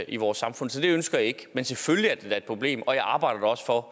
i vores samfund så det ønsker jeg ikke men selvfølgelig er det da et problem og jeg arbejder også for